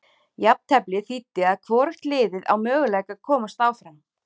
Jafnteflið þýddi að hvorugt liðið á möguleika að komast áfram.